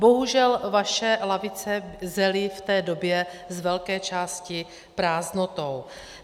Bohužel vaše lavice zely v té době z velké části prázdnotou.